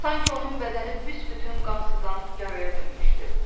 Sanki onun bədəni büsbütün qan sızan yaraya dönmüşdü.